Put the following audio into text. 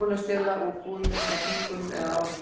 Konur stela úr búðum, eins og af þvingun eða áráttu.